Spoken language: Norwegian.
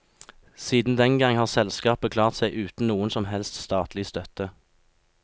Siden den gang har selskapet klart seg uten noen som helst statlig støtte.